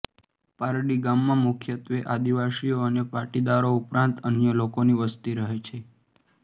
પારડી ગામમાં મુખ્યત્વે આદિવાસીઓ અને પાટીદારો ઉપરાંત અન્ય લોકોની વસ્તી રહે છે